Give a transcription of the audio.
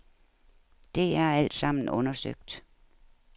Det er alt sammen undersøgt.